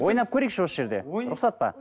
ойнап көрейікші осы жерде рұқсат па